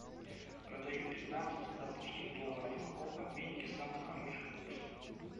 продаю пятнадцать сингапурских долларов в каком обменнике самый хороший курс